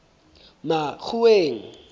makgoweng